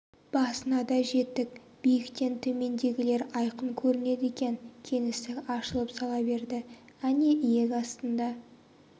басына да жеттік биіктен төмендегілер айқын көрінеді екен кеңістік ашылып сала берді әне иек астында